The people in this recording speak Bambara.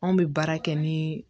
Anw bɛ baara kɛ ni